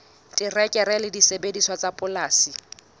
terekere le disebediswa tsa polasing